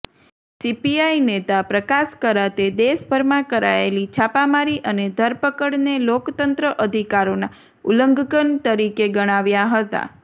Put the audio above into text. CPI નેતા પ્રકાશ કરાતે દેશભરમાં કરાયેલી છાપામારી અને ધરપકડને લોકતંત્ર અધિકારોના ઉલ્લંઘન તરીકે ગણાવ્યા હતા